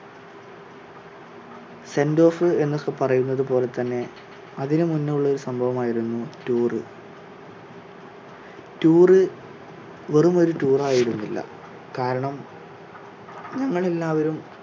sentoff എന്ന് ഒക്കെ പറയുന്നത് പോലെ തന്നെ അതിന് മുന്നേഉള്ള ഒരു സംഭവമായിരുന്നു tour tour വെറും ഒരു tour ായിരുന്നില്ല കാരണം നമ്മൾ എല്ലാവരും